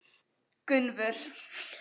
Gunnvör